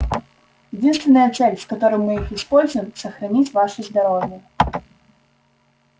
единственная цель с которой мы их используем сохранить ваше здоровье